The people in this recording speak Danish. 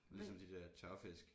Ligesom de der tørfisk